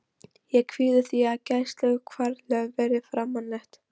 Ég kvíði því að gæsluvarðhaldið verði framlengt.